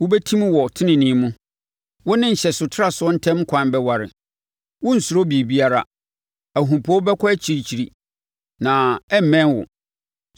Wobɛtim wɔ tenenee mu: Wo ne nhyɛsotrasoɔ ntam kwan bɛware; worensuro biribiara. Ahupoo bɛkɔ akyirikyiri, na ɛremmɛn wo.